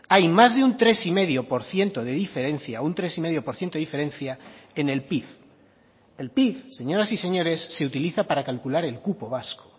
hay más de un tres coma cinco por ciento de diferencia en el pib el pib señoras y señores se utiliza para calcular el cupo vasco